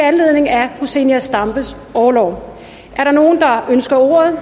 anledningen af zenia stampes orlov er der nogen der ønsker ordet